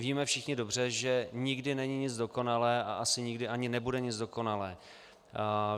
Víme všichni dobře, že nikdy není nic dokonalé a asi nikdy ani nebude nic dokonalé.